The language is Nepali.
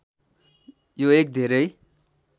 यो एक धेरै